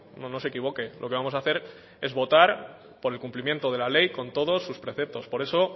no no se equivoque lo que vamos a hacer es votar por el cumplimiento de la ley con todos sus preceptos por eso